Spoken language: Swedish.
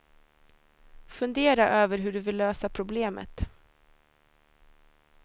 Fundera över hur du vill lösa problemet.